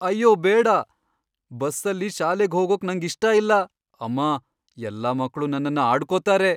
ಅಯ್ಯೋ ಬೇಡ! ಬಸ್ಸಲ್ಲಿ ಶಾಲೆಗ್ ಹೋಗೋಕ್ ನಂಗಿಷ್ಟ ಇಲ್ಲ, ಅಮ್ಮ. ಎಲ್ಲಾ ಮಕ್ಳು ನನ್ನನ್ನ ಆಡ್ಕೊತಾರೆ.